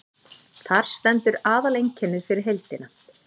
þar stendur aðaleinkennið fyrir heildina